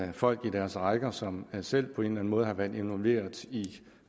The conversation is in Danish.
har folk i deres rækker som selv på en eller anden måde har været involveret i